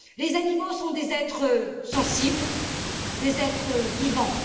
Les animaux sont des êtres sensibles, des êtres vivants